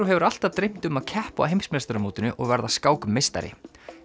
hefur alltaf dreymt um að keppa á heimsmeistaramótinu og verða skákmeistari